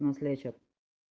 нас лечат